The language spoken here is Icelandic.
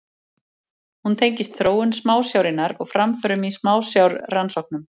Hún tengist þróun smásjárinnar og framförum í smásjárrannsóknum.